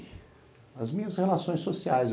E as minhas relações sociais.